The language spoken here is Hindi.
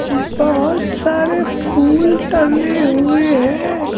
बहुत सारे फूल टंगे हुए हैं।